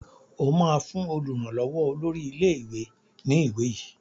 O ma fún olùrànlówó olórí ilé ìwé ní ìwé yí!